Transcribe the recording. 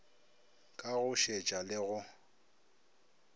ka go šetša le go